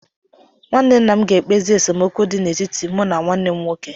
Nwanne nna ga-ekpezi esemokwu dị n'etiti mụ na nwanne m nwoke.